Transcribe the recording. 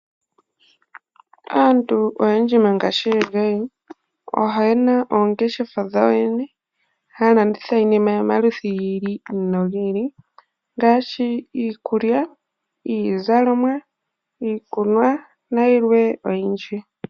Aantu oyendji mongashingeyi oyena oongeshefa dhawo yene haya landitha iinima yomaludhi gi ili nogi ili. Ngaashi iikulya, iizalomwa, iikunwa nayilwe oyindji.